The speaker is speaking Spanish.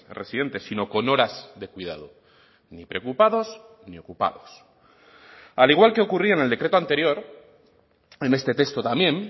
residentes sino con horas de cuidado ni preocupados ni ocupados al igual que ocurría en el decreto anterior en este texto también